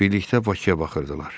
Birlikdə Bakıya baxırdılar.